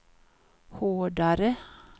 hårdare